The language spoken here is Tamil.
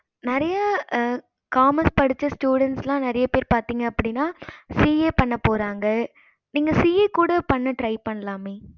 நெறைய commerce படிச்ச students எல்லாம் நெறைய பேர் பாத்திங்க அப்படின்னா CA பண்ண போறாங்க நீங்க CA கூட பண்ண try பண்ணலாமே